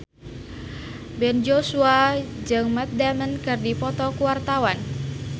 Ben Joshua jeung Matt Damon keur dipoto ku wartawan